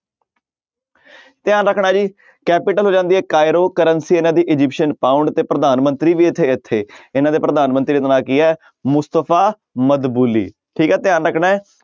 ਧਿਆਨ ਰੱਖਣਾ ਜੀ capital ਹੋ ਜਾਂਦੀ ਹੈ ਕਾਈਰੋ currency ਇਹਨਾਂ ਦੀ ਅਜਿਪਸਨ ਪਾਊਂਡ ਤੇ ਪ੍ਰਧਾਨ ਮੰਤਰੀ ਵੀ ਇੱਥੇ ਇੱਥੇ ਇਹਨਾਂ ਦੇ ਪ੍ਰਧਾਨ ਮੰਤਰੀ ਦਾ ਨਾਮ ਕੀ ਹੈ ਮੁਸਤਫ਼ਾ ਮਦਬੁਲੀ, ਠੀਕ ਹੈ ਧਿਆਨ ਰੱਖਣਾ ਹੈ।